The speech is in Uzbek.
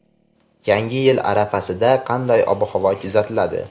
Yangi yil arafasida qanday ob-havo kuzatiladi?.